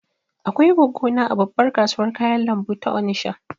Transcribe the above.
Akwai goggo na a babbar kasuwar kayan lambu ta Onisha